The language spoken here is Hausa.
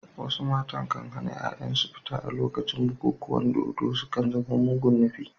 Wasu matan kan hana ‘ya’yansu fita a lokacin bukukuwan dodo, sun kan zama mugun nufi.